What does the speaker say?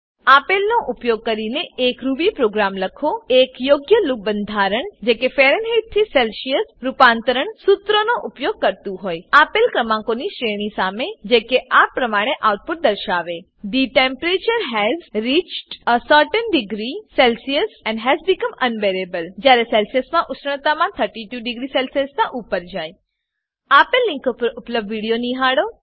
આપેલનો ઉપયોગ કરીને એક રૂબી પ્રોગ્રામ લખો એક યોગ્ય લૂપ બંધારણ જે કે ફેરનહેઇટથી સેલ્સીઅસ રૂપાંતરણ સુત્રનો ઉપયોગ કરતુ હોય આપેલ ક્રમાંકોની શ્રેણી સામે જે કે આ પ્રમાણે આઉટપુટ દર્શાવે the temperature has reached a certain degree Celsius and has become unbearable જ્યારે સેલ્સીઅસમાં ઉષ્ણતામાન 32 ડિગ્રી સેલ્સીઅસનાં ઉપર જાય આપેલ લીંક પર ઉપલબ્ધ વિડીયો નિહાળો